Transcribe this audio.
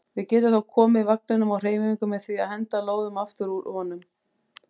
Við getum þá komið vagninum á hreyfingu með því að henda lóðum aftur úr honum.